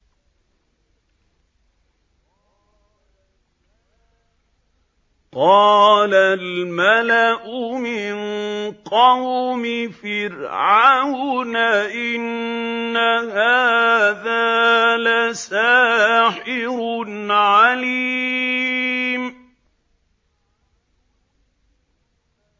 قَالَ الْمَلَأُ مِن قَوْمِ فِرْعَوْنَ إِنَّ هَٰذَا لَسَاحِرٌ عَلِيمٌ